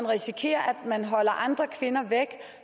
risikere at man holder andre kvinder væk